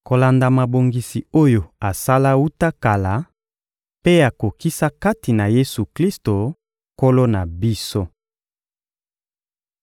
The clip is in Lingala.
kolanda mabongisi oyo asala wuta kala mpe akokisa kati na Yesu-Klisto, Nkolo na biso.